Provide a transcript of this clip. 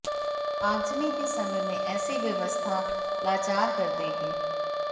आगजनी के समय में ऐसी व्यवस्था लाचार कर देगी